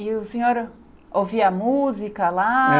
E o senhor ouvia música lá?